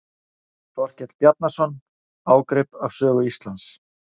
Þorkell Bjarnason: Ágrip af sögu Íslands.